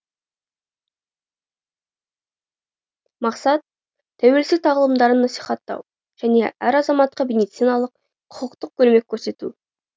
мақсат тәуелсіздік тағылымдарын насихаттау және әр азаматқа медициналық құқықтық көмек көрсету